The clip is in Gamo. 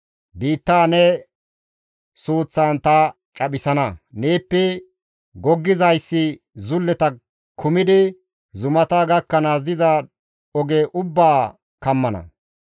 Biittaa ne suuththan ta caphisana; neeppe goggizayssi zulleta kumidi zumata gakkanaas diza oge ubbaa kammana.